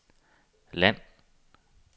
land